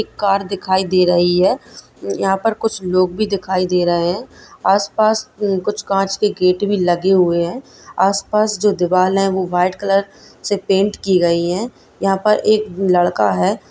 एक कार दिखाई दे रही है यहाँ पर कुछ लोग भी दिखाई दे रहें हैं आसपास कुछ काँच के गेट भी लगे हुए हैं आसपास जो दीवाल है वो वाइट कलर से पेंट की गई है यहाँ पर एक लड़का है।